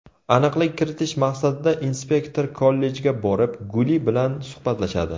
Aniqlik kiritish maqsadida inspektor kollejga borib, Guli bilan suhbatlashadi.